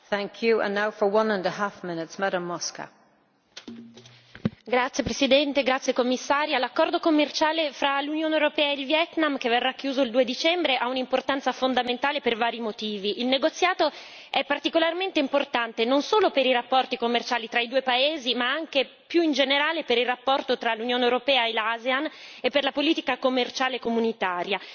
Signora Presidente, onorevoli colleghi, signora Commissaria, l'accordo commerciale fra l'Unione europea e il Vietnam, che verrà chiuso il 2 dicembre, ha un'importanza fondamentale per vari motivi. Il negoziato è particolarmente importante, non solo per i rapporti commerciali tra i due paesi, ma anche più in generale, per il rapporto tra l'Unione europea e l'ASEAN e per la politica commerciale comunitaria.